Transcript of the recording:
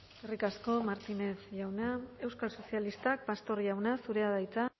eskerrik asko martínez jauna euskal sozialistak pastor jauna zurea da hitza